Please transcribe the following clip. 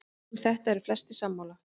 Um þetta eru flestir sammála.